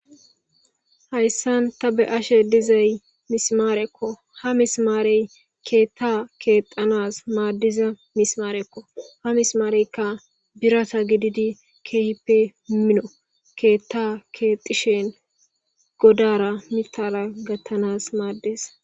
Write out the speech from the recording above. Hayssan ta be ashe dizay mismaarekko ha mismaarey keetta keexanas maaddiza mismaarekko ha mismaareykka birata gididi keehippe mino keetta keexishen godara mitala gattanas maaddes.